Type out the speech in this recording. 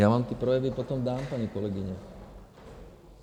- Já vám ty projevy potom dám, paní kolegyně.